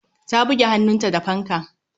Ta buge hannunta da fanka.